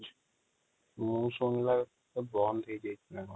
ମୁ ଶୁଣି ନା ବେଳକୁ ବନ୍ଦ ହେଇଯାଇଥିଲା |